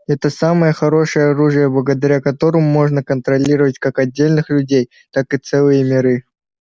это самое хорошее оружие благодаря которому можно контролировать как отдельных людей так и целые миры